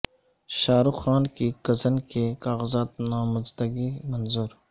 شاہ رخ خان کی کزن کے کاغذات نامزدگی منظور